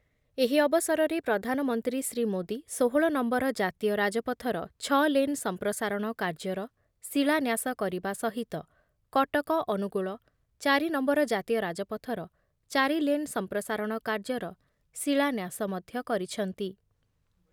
ଏହି ଅବସରରେ ପ୍ରଧାନମନ୍ତ୍ରୀ ଶ୍ରୀଯୁକ୍ତ ମୋଦି ଷୋହଳ ନମ୍ବର ଜାତୀୟ ରାଜପଥର ଛଅ ଲେନ୍ ସମ୍ପ୍ରସାରଣ କାର୍ଯ୍ୟର ଶିଳାନ୍ୟାସ କରିବା ସହିତ କଟକରୁ ଅନୁଗୁଳ ଚାରି ନମ୍ବର ଜାତୀୟ ରାଜପଥର ଚାରିଲେନ୍ ସମ୍ପ୍ରସାରଣ କାର୍ଯ୍ୟର ଶିଳାନ୍ୟାସ ମଧ୍ୟ କରିଛନ୍ତି ।